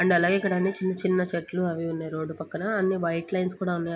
And అలాగే ఇక్కడ చిన్న చిన్న చెట్లు అవి ఉన్నాయ్. రోడ్ పక్కన అన్ని వైట్ లైన్స్ కూడా ఉన్నాయ్.